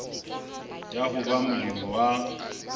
ya ho ba molemi wa